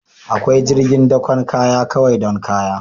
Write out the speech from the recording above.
Akwai jirgin dakon kaya kawai don kaya